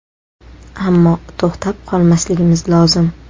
Ammo, to‘xtab qolmasligimiz lozim.